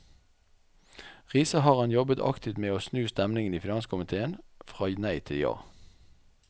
Riise har han jobbet aktivt med å snu stemningen i finanskomitéen fra nei til ja.